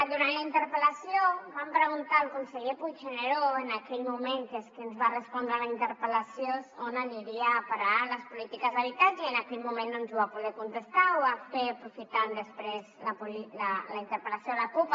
durant la interpel·lació vam preguntar al conseller puigneró en aquell moment que és qui ens va respondre la interpel·lació on anirien a parar les polítiques d’habitatge i en aquell moment no ens ho va poder contestar ho va fer aprofitant després la interpel·lació de la cup